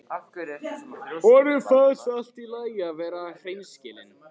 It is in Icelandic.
Honum finnst allt í lagi að vera hreinskilinn.